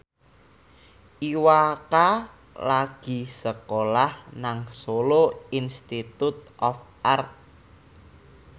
Iwa K lagi sekolah nang Solo Institute of Art